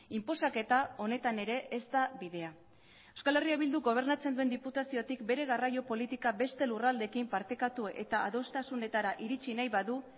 inposaketa honetan ere ez da bidea euskal herria bilduk gobernatzen duen diputaziotik bere garraio politika beste lurraldeekin partekatu eta adostasunetara iritsi nahi badu